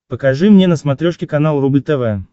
покажи мне на смотрешке канал рубль тв